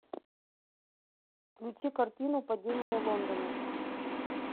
включи картину падение лондона